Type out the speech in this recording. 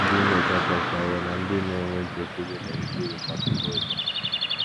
Ndị nnyocha achọpụtawo na ndị na - enwe nchekwube na - erite uru n’ọtụtụ ụzọ.